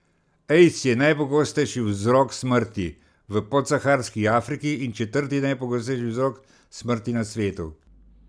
Aids je najpogostejši vzrok smrti v podsaharski Afriki in četrti najpogostejši vzrok smrti na svetu.